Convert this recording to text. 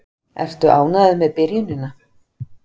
Ertu ánægður með byrjunina?